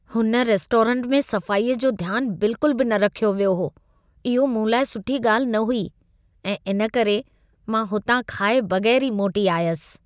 हुन रेस्टोरेंट में सफ़ाई जो ध्यानु बिल्कुल बि न रखियो वियो हो. इहो मूं लाइ सुठी ॻाल्हि न हुई ऐं इन करे मां हुतां खाए बगै़रु ई मोटी आयसि.